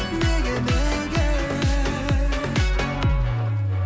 неге неге